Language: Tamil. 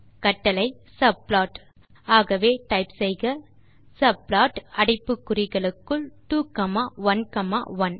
கட்டளை சப்ளாட் ஆகவே டைப் செய்க சப்ளாட் அடைப்பு குறிகளுக்குள் 2 காமா 1 காமா 1